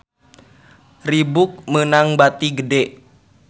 Reebook meunang bati gede